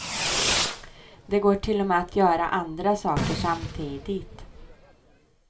Det går till och med att göra andra saker samtidigt.